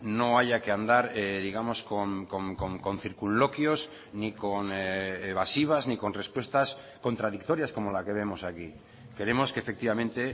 no haya que andar digamos con circunloquios ni con evasivas ni con respuestas contradictorias como la que vemos aquí queremos que efectivamente